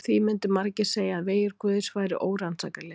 Því myndu margir segja að vegir guðs væru órannsakanlegir.